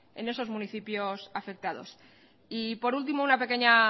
en esos municipios afectados y por último una pequeña